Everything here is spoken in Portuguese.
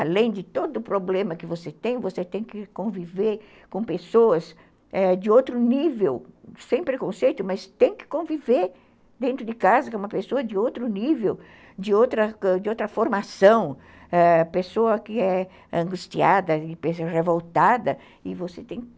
Além de todo o problema que você tem, você tem que conviver com pessoas, eh, de outro nível, sem preconceito, mas tem que conviver dentro de casa com uma pessoa de outro nível, de outra formação, pessoa que é angustiada, pessoa revoltada, e você tem que...